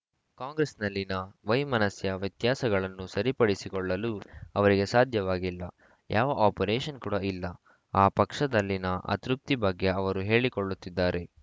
ಕಾಂಗ್ರೆಸ್‌ನಲ್ಲಿನ ವೈಮನಸ್ಯ ವ್ಯತ್ಯಾಸಗಳನ್ನು ಸರಿಪಡಿಸಿಕೊಳ್ಳಲು ಅವರಿಗೆ ಸಾಧ್ಯವಾಗಿಲ್ಲ ಯಾವ ಆಪರೇಷನ್‌ ಕೂಡ ಇಲ್ಲ ಆ ಪಕ್ಷದಲ್ಲಿನ ಅತೃಪ್ತಿ ಬಗ್ಗೆ ಅವರು ಹೇಳಿಕೊಳ್ಳುತ್ತಿದ್ದಾರೆ